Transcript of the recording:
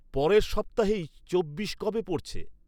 পরের সপ্তাহেই চব্বিশ কবে পড়ছে?